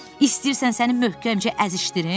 İstəyirsən səni möhkəmcə əzişdirim?